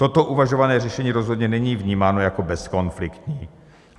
Toto uvažované řešení rozhodně není vnímáno jako bezkonfliktní.